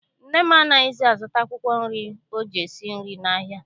Nne m anaghịzi azụta akwụkwọ nri o ji esi nri n'ahịa.